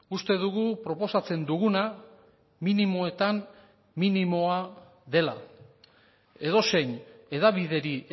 uste dugu proposatzen duguna minimoetan minimoa dela edozein hedabideri